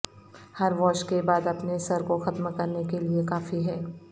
ہر wash کے بعد اپنے سر کو ختم کرنے کے لئے کافی ہے